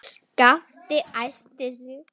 Skapti æsti sig.